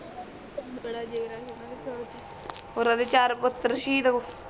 ਧਨ ਬੜਾ ਜਿਗਰਾ ਸੀ ਉਨ੍ਹਾਂ ਦੇ ਪਿਓ ਦੇ ਉਰਾ ਜੇ ਚਾਰ ਪੁਤਰ ਸ਼ਹੀਦ ਹੋ